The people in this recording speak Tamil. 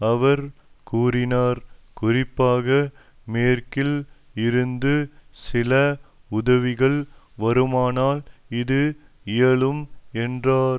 அவர் கூறினார் குறிப்பாக மேற்கில் இருந்து சில உதவிகள் வருமானால் இது இயலும் என்றார்